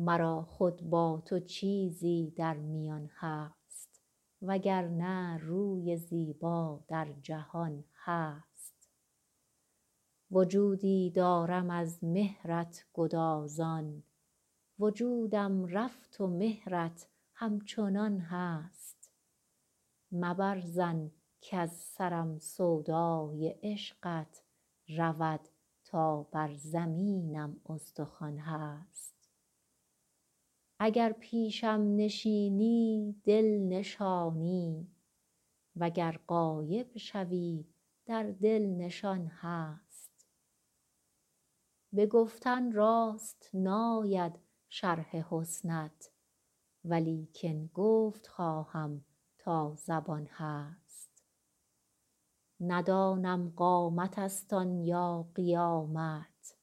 مرا خود با تو چیزی در میان هست و گر نه روی زیبا در جهان هست وجودی دارم از مهرت گدازان وجودم رفت و مهرت همچنان هست مبر ظن کز سرم سودای عشقت رود تا بر زمینم استخوان هست اگر پیشم نشینی دل نشانی و گر غایب شوی در دل نشان هست به گفتن راست ناید شرح حسنت ولیکن گفت خواهم تا زبان هست ندانم قامتست آن یا قیامت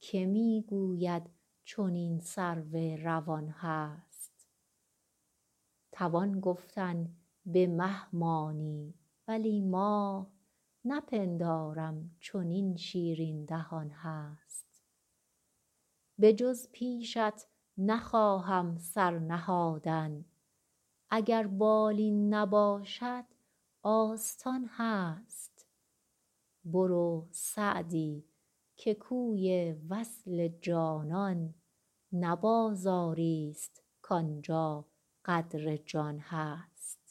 که می گوید چنین سرو روان هست توان گفتن به مه مانی ولی ماه نپندارم چنین شیرین دهان هست بجز پیشت نخواهم سر نهادن اگر بالین نباشد آستان هست برو سعدی که کوی وصل جانان نه بازاریست کان جا قدر جان هست